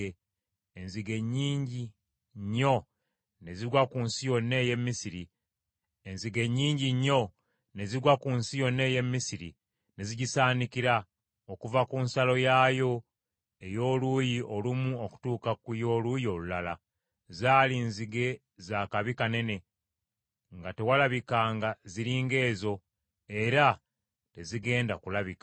Enzige nnyingi nnyo ne zigwa ku nsi yonna ey’e Misiri, ne zigisaanikira, okuva ku nsalo yaayo ey’oluuyi olumu okutuuka ku y’oluuyi olulala. Zaali nzige za kabi kanene, nga tewalabikanga ziri ng’ezo, era tezigenda kulabika.